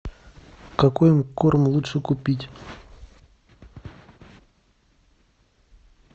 какой корм лучше купить